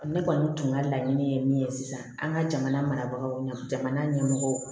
Ne kɔni tun ka laɲini ye min ye sisan an ka jamana marabagaw ɲɛna jamana ɲɛmɔgɔw